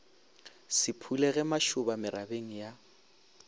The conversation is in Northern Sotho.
se phulego mašoba merabeng ya